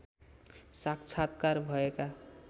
साक्षात्कार भएका